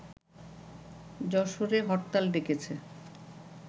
যশোরে হরতাল ডেকেছে